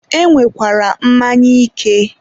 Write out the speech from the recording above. e nwekwara mmanya ike.